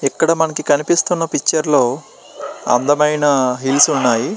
ఇక్కడ మనకి కనిపిస్తున్నా పిచుటే లో అందమయిన హిల్స్ ఉన్నాయి.